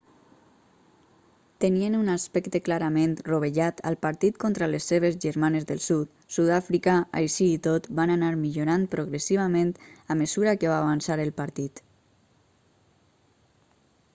tenien un aspecte clarament rovellat al partit contra les seves germanes del sud sud-àfrica així i tot van anar millorant progressivament a mesura que va avançar el partit